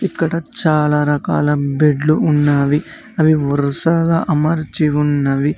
ఇక్కడ చాలా రకాల బెడ్లు ఉన్నావి. అవి వరుసగా అమర్చి ఉన్నవి.